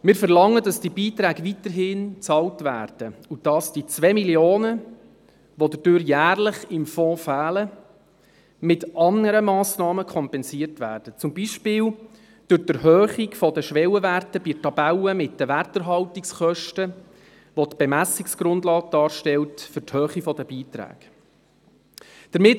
Wir verlangen, dass diese Beiträge weiterhin bezahlt werden und dass die 2 Mio. Franken, die dadurch jährlich im Fonds fehlen, mit anderen Massnahmen kompensiert werden, zum Beispiel durch die Erhöhung der Schwellenwerte bei der Tabelle mit den Werterhaltungskosten, welche die Bemessungsgrundlage für die Höhe der Beiträge darstellt.